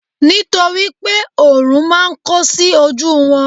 nitoripe orun ma n ko sí oju won